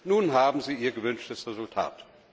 Nun haben sie ihr gewünschtes Resultat.